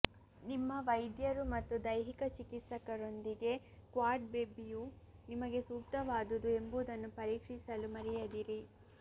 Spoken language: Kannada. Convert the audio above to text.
ನಿಮ್ಮ ವೈದ್ಯರು ಮತ್ತು ದೈಹಿಕ ಚಿಕಿತ್ಸಕರೊಂದಿಗೆ ಕ್ವಾಡ್ ಬೆಬ್ಬಿಯು ನಿಮಗೆ ಸೂಕ್ತವಾದುದು ಎಂಬುದನ್ನು ಪರೀಕ್ಷಿಸಲು ಮರೆಯದಿರಿ